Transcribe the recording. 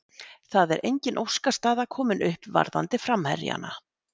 Það er engin óskastaða komin upp varðandi framherjana.